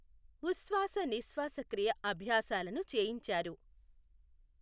ఉశ్వాస నిశ్వాస క్రియ అభ్యాసాలను చేయించారు.